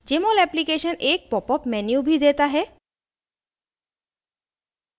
jmol application एक popup menu भी देता है